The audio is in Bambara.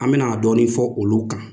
An me na dɔɔni fɔ olu kan